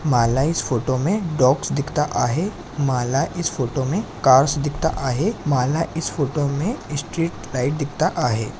मला इस फोटो मे डॉग्स दिखता आहे मला इस फोटो मे कार्स दिखता आहे मला इस फोटो मे इस्टेट लाइट दिखता आहे.